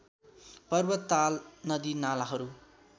पर्वत ताल नदिनालाहरू